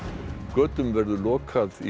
götum verður lokað í